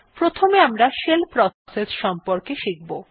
প্রথমে আমারা shell process সম্বন্ধে শিখব